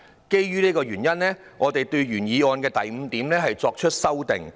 基於以上原因，我們對原議案的第五點作出了修訂。